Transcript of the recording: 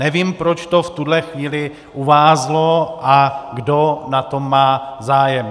Nevím, proč to v tuhle chvíli uvázlo a kdo na tom má zájem.